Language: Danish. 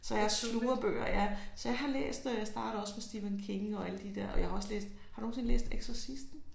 Så jeg sluger bøger ja. Så jeg har læst øh startede også på Stephen King og alle de der og jeg har også læst har du nogensinde læst eksorcisten?